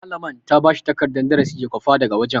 Malaman ta bashi takardan darasi ya kwafa daga wajen.